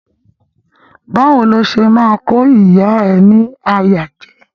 Bawo ni o ṣe ma ko ìyá ẹ ni àyà jẹ?